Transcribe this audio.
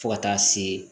Fo ka taa se